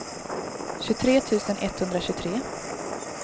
tjugotre tusen etthundratjugotre